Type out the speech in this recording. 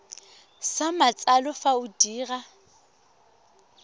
sa matsalo fa o dira